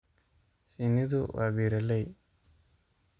Shinnidu waa beeraley.